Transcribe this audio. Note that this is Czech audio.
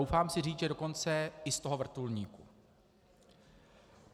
Troufám si říct, že dokonce i z toho vrtulníku.